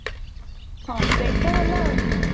ହଁ ସେଇତ ହେଲା ଉଁ